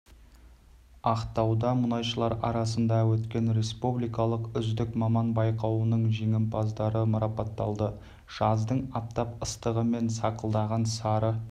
ақтауда мұнайшылар арасында өткен республикалық үздік маман байқауының жеңімпаздары марапатталды жаздың аптап ыстығы мен сақылдаған сары